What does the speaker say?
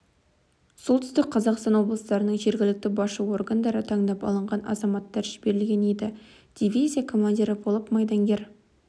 солтүстік қазақстан облыстарының жергілікті басшы органдары таңдап алған азаматтар жіберілген еді дивизия командирі болып майдангер